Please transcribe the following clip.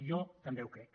jo també ho crec